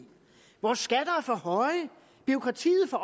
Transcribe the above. vores skatter er for høje bureaukratiet for